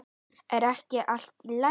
Er ekki allt í lagi?